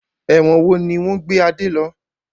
Ẹ̀wọ̀n wo ni wọn gbé Adé lọ?